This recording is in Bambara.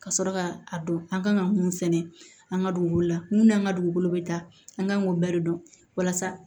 Ka sɔrɔ ka a dɔn an kan ka mun sɛnɛ an ka dugukolo la mun n'an ka dugukolo bɛ ta an kan k'o bɛɛ dɔn walasa